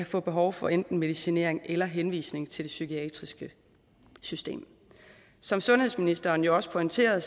får behov for enten medicinering eller henvisning til det psykiatriske system som sundhedsministeren jo også pointerede